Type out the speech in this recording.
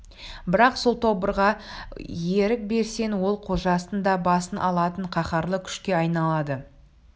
бірақ сол тобырға ерік берсең ол қожасының да басын алатын қаһарлы күшке айналады